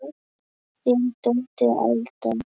Þín dóttir, Alda.